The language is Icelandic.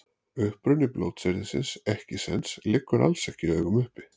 Uppruni blótsyrðisins ekkisens liggur alls ekki í augum uppi.